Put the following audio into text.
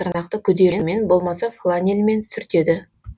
тырнақты күдерімен болмаса фланельмен сүртеді